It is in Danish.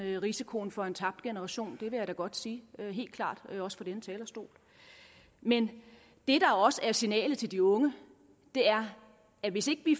og risikoen for en tabt generation det vil jeg da godt sige helt klart også fra denne talerstol men det der også er signalet til de unge er at hvis ikke vi